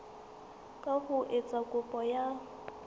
ka ho etsa kopo ya